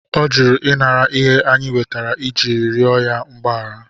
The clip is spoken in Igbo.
Ọ jụrụ inara ihe anyị wetere iji rịọ ya mgbaghara.